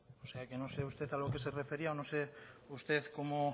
o sea que no sé usted a lo que se refería o no sé usted